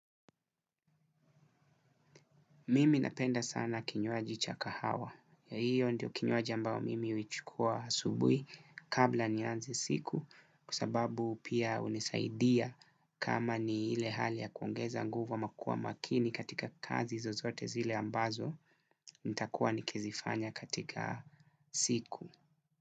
Mimi napenda sana kinywaji cha kahawa. Ee hio ndio kinywaji ambao mimi uichukua asubui kabla nianze siku kwa sababu pia unisaidia kama ni ile hali ya kuongeza nguvu ama kuwa makini katika kazi zozote zile ambazo nitakuwa nikizifanya katika siku.